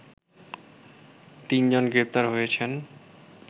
তিনজন গ্রেপ্তার হয়েছেন